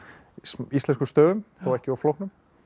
íslenskum stöfum þó ekki of flóknum